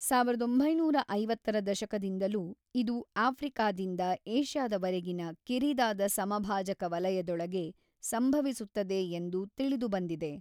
ಸಾವಿರದ ಒಂಬೈನೂರ ಐವತ್ತರ ದಶಕದಿಂದಲೂ, ಇದು ಆಫ್ರಿಕಾದಿಂದ ಏಷ್ಯಾದವರೆಗಿನ ಕಿರಿದಾದ ಸಮಭಾಜಕ ವಲಯದೊಳಗೆ ಸಂಭವಿಸುತ್ತದೆ ಎಂದು ತಿಳಿದುಬಂದಿದೆ.